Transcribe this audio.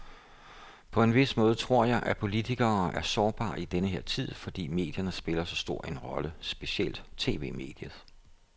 På en vis måde tror jeg, at politikere er sårbare i denne her tid, fordi medierne spiller så stor en rolle, specielt tv-mediet.